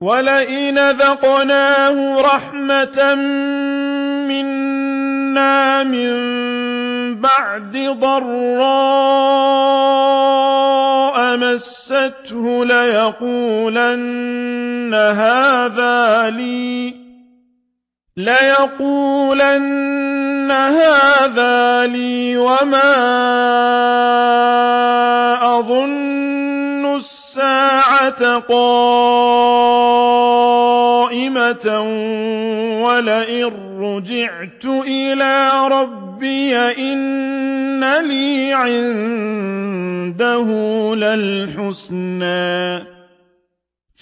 وَلَئِنْ أَذَقْنَاهُ رَحْمَةً مِّنَّا مِن بَعْدِ ضَرَّاءَ مَسَّتْهُ لَيَقُولَنَّ هَٰذَا لِي وَمَا أَظُنُّ السَّاعَةَ قَائِمَةً وَلَئِن رُّجِعْتُ إِلَىٰ رَبِّي إِنَّ لِي عِندَهُ لَلْحُسْنَىٰ ۚ